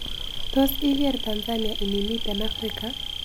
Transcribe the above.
Tos' igeerr tanzania inimiten afrika